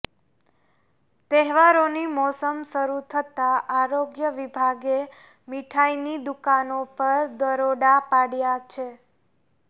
તહેવારોની મોસમ શરૂ થતા આરોગ્ય વિભાગે મીઠાઈની દુકાનો પર દરોડા પાડ્યા છે